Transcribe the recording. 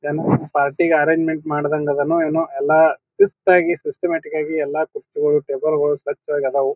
ಏನೋ party arrangement ಮಾಡದಂಗ್ ಅದನೊ ಎನೊ ಅಲ್ಲ ಶಿಸ್ತ್ ಆಗಿ ಸಿಸ್ಟಮ್ಯಾಟಿಕ್ ಆಗಿ ಎಲ್ಲ ಕುರ್ಚಿಗಳು ತೇಬೆಳಗಳು ಸ್ವಚ್ಛವಾಗಿ ಆದವು.